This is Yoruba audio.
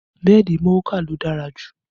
Bẹ́ẹ̀dì Mouka ló dára jù